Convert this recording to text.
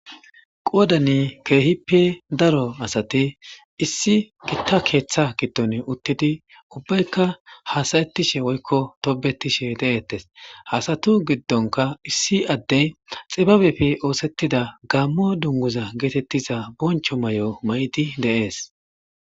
qoodani keehippe daro asati issi gitta keeththa giddon uttidi ubbaykka hasayettishe woykko tobetishe de7ettes hasatu giddonka issi addey xibabefi oosettida gaammo dunguza geetettiza boncho may7o may7idi deees